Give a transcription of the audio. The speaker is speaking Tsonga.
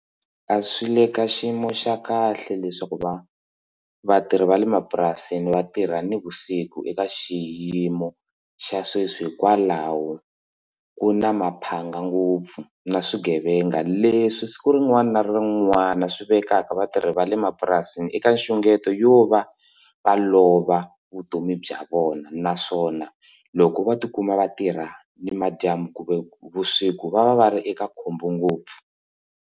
A swi le ka xiyimo xa kahle leswaku va vatirhi va le mapurasini vatirha na vusiku eka xiyimo xa sweswi hikwalaho ku na maphanga ngopfu na swigevenga leswi siku rin'wana na rin'wana swi vekaka vatirhi va le mapurasini eka nxungeto yo va va lova vutomi bya vona naswona loko vo tikuma vatirha ni madyambu kumbe vusiku va va va ri eka khombo ngopfu.